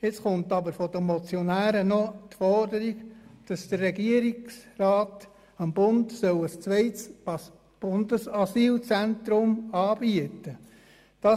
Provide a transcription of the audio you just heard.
Jetzt stellen sie aber die Forderung, dass der Regierungsrat dem Bund ein zweites Asylzentrum anbieten soll.